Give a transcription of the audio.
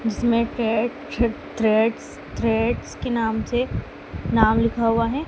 इसमें टेड छ थ्रेडस थ्रेड्स के नाम से नाम लिखा हुआ है।